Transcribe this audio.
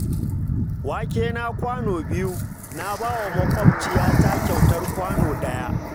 Wakena kwano biyu, na ba wa maƙwabciyata kyautar kwano ɗaya